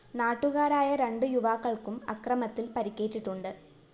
നാട്ടുകാരായ രണ്ട് യുവാക്കള്‍ക്കും അക്രമത്തില്‍ പരിക്കേറ്റിട്ടുണ്ട്